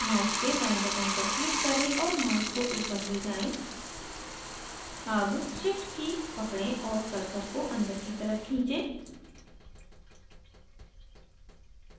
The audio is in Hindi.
mouse के बाएं button पर click करें और mouse को upward ले जाएँ अब shift की पकड़ें और cursor को अंदर की तरफ खींचे